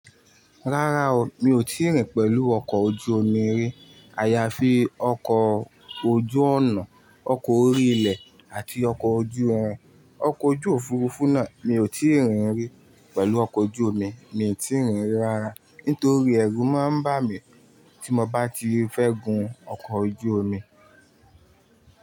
Rárá o, mi ò tí rìn pẹ̀lú ọkọ̀ ojú omi rí. A ya fi ọkọ̀ ojú ọ̀nà, ọkọ̀ orí ilẹ̀ àti ọkọ̀ ojú irin. Ọkọ̀ ojú òfuurufú náà mi ò tí rìn rí, pẹ̀lú ọkọ̀ ojú omi, mi ò tí rìn rí rárá. Nítorí ẹrú máa ń bà mí tí mo bá ti fẹ́ gun ọkọ̀ ojú omi.